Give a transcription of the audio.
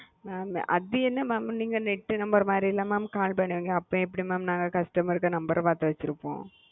அது என்ன mam net மதித்தன call பண்ணுவீங்க நாங்க எப்படி mam பாத்து வாசிப்போம்